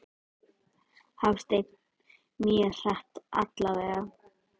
Hafsteinn: Mjög hratt allavega?